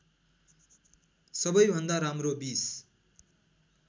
सबैभन्दा राम्रो २०